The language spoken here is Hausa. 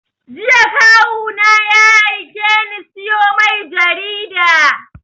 Jiya Kawu na ya aike ni sayo mai jarida